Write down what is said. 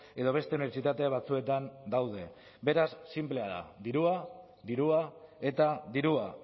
edo beste unibertsitate batzuetan daude beraz sinplea da dirua dirua eta dirua